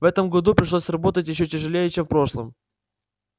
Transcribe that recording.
в этом году пришлось работать ещё тяжелее чем в прошлом